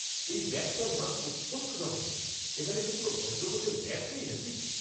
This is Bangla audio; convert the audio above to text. এই ব্যাটটার মান অত্যন্ত জঘন্য। এখানে কি কোনো ভদ্র গোছের ব্যাট নেই নাকি?